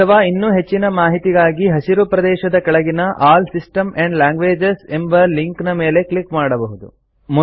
ಅಥವಾ ಇನ್ನೂ ಹೆಚ್ಚಿನ ಮಾಹಿತಿಗಾಗಿ ಹಸಿರು ಪ್ರದೇಶದ ಕೆಳಗಿನ ಆಲ್ ಸಿಸ್ಟಮ್ಸ್ ಆಂಡ್ ಲ್ಯಾಂಗ್ವೇಜಸ್ ಎಂಬ ಲಿಂಕ್ ನ ಮೇಲೆ ಕ್ಲಿಕ್ ಮಾಡಬಹುದು